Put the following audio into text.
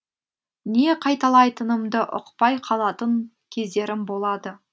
не қайталайтынымды ұқпай қалатын кездерім болады